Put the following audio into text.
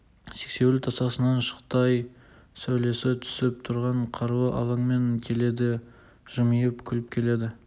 сексеуіл тасасынан шықты ай сәулесі түсіп тұрған қарлы алаңмен келеді жымиып күліп келеді